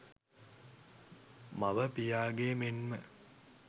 මව, පියාගේ මෙන්ම